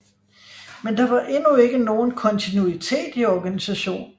Men der var endnu ikke nogen kontinuitet i organisation